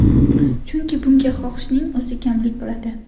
Chunki bunga xohishning o‘zi kamlik qiladi.